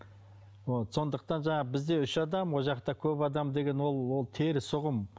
вот сондықтан жаңағы бізде үш адам ол жақта көп адам деген ол ол теріс ұғым